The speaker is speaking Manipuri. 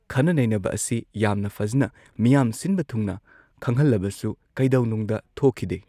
ꯈꯟꯅ ꯅꯩꯅꯕ ꯑꯁꯤ ꯌꯥꯝꯅ ꯐꯖꯅ ꯃꯤꯌꯥꯝ ꯁꯤꯟꯕ ꯊꯨꯡꯅ ꯈꯪꯍꯟꯂꯕꯁꯨ ꯀꯩꯗꯧꯅꯨꯡꯗ ꯊꯣꯛꯈꯤꯗꯦ꯫